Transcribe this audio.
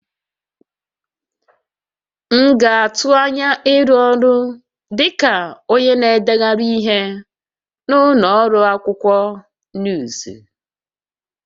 M na-atụ anya ịrụ ọrụ dị ka onye na-edegharị ihe na ụlọ ọrụ akwụkwọ nuuzu